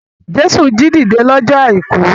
Jésù jí dìde lọ́jọ́ àìkú.